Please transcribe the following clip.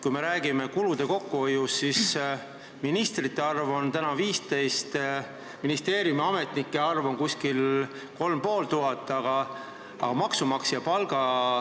Kui me räägime kulude kokkuhoiust, siis ministrite arv on praegu 15, ministeeriumiametnike arv on umbes 3500.